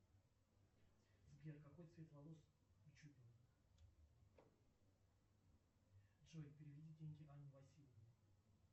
сбер какой цвет волос у чубина джой переведи деньги анне васильевне